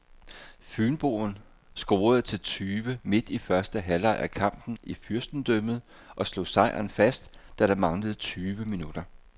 Fynboen scorede til tyve midt i første halvleg af kampen i fyrstendømmet og slog sejren fast, da der manglede tyve minutter.